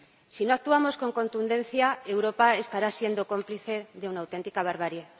Si no actuamos con contundencia, Europa estará siendo cómplice de una auténtica barbarie.